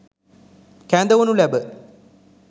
කැඳවනු ලැබ